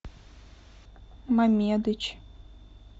мамедыч